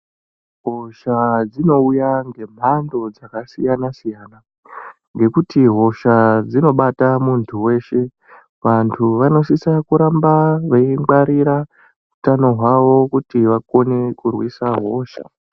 Hosha dzinouya ngemhando dzakasiyana siyana ngekuti hosha dzinobata muntu weshe, vantu vanosisa kuramba veingwarira utano hwavo kuti vakone kurwisa hosha.